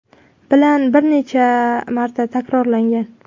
bilan bir necha marta takrorlangan.